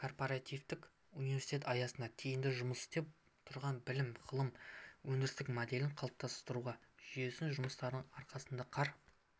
корпоративтік университет аясында тиімді жұмыс істеп тұрған білім ғылым өндіріс моделін қалыптастырудағы жүйелі жұмыстардың арқасында қар